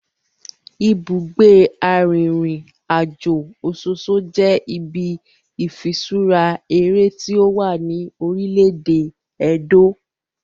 Ibugbe arinrinajo Ososo je ibi ifiṣura ere ti owa ni orile-ede Edo.